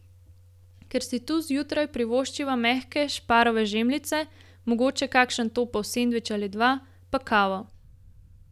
Ker si tu zjutraj privoščiva mehke šparove žemljice, mogoče kakšen topel sendvič ali dva, pa kavo.